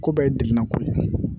Ko bɛɛ ye degunnako ye